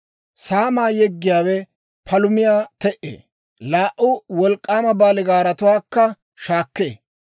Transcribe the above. Saamaa yeggiyaawe palumiyaa te"ee; laa"u wolk'k'aama baaligaaratuwaakka shaakkee.